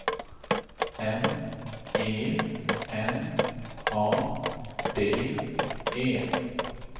M E N A D E